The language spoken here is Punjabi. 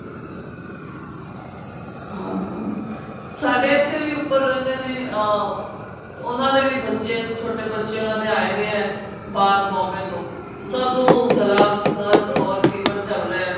ਹਾਂ ਹਾਂ ਸਾਡੇ ਇੱਥੇ ਵੀ ਉਪਰ ਰਹਿੰਦੇ ਨੇ ਅਹ ਉਹਨਾ ਦੇ ਵੀ ਬੱਚੇ ਛੋਟੇ ਬੱਚੇ ਉਹਨਾ ਦੇ ਆਏ ਦੇ ਏ ਬਾਹਰ Bombay ਤੋਂ ਨੂੰ ਗੱਲਾ ਦਰਦ ਹੋਰ fever ਚੱਲ ਰਿਹਾ